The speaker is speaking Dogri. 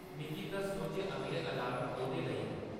मिगी दस्सो जे अगले अलार्म कौह्दे लेई न